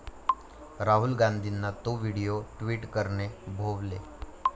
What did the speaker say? राहुल गांधींना 'तो' video tweet करणे भोवले